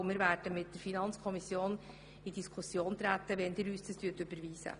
Wir sind auch bereit, mit der FiKo über dieses Thema zu diskutieren, wenn Sie diesen Vorstoss überweisen.